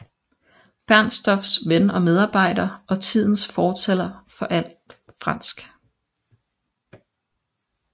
Bernstorffs ven og medarbejder og tidens fortaler for alt fransk